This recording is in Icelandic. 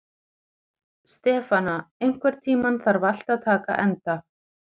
Stefana, einhvern tímann þarf allt að taka enda.